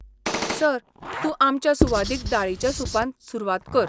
Sir, तूं आमच्या सुवादीक दाळीच्या सूपान सुरवात कर.